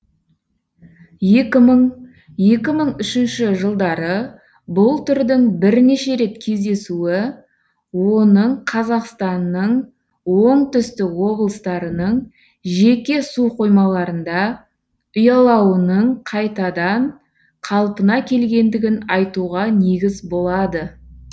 екі мың екі мың үшінші жылдары бұл түрдің бірнеше рет кездесуі оның қазақстанның оңтүстік облыстарының жеке суқоймаларында ұялауының қайтадан қалпына келгендігін айтуға негіз болады